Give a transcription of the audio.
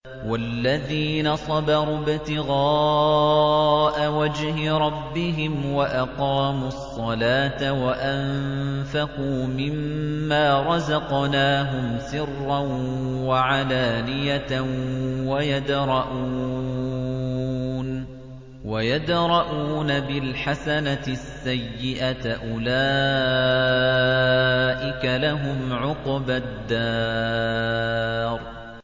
وَالَّذِينَ صَبَرُوا ابْتِغَاءَ وَجْهِ رَبِّهِمْ وَأَقَامُوا الصَّلَاةَ وَأَنفَقُوا مِمَّا رَزَقْنَاهُمْ سِرًّا وَعَلَانِيَةً وَيَدْرَءُونَ بِالْحَسَنَةِ السَّيِّئَةَ أُولَٰئِكَ لَهُمْ عُقْبَى الدَّارِ